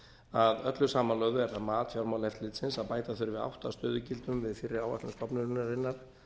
að öllu samanlögðu er það mat fjármálaeftirlitsins að bæta þurfi átta stöðugildum við fyrir áætluð stofnunarinnar